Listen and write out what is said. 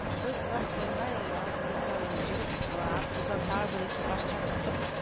бір сұрақ қоймай алдымыздан жүріп артымыздан тағы бір экипаж шақыртып